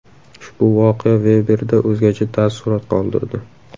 Ushbu voqea Veberda o‘zgacha taassurot qoldirdi.